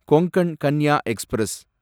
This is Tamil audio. கொங்கன் கன்யா எக்ஸ்பிரஸ்